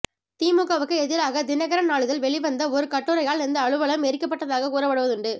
திமுகவுக்கு எதிராக தினகரன் நாளிதழ் வெளிவந்த ஒரு கட்டுரையால் இந்த அலுவலம் எரிக்கப்பட்டதாக கூறப்படுவதுண்டு